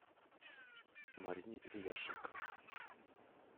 марине ильяшенко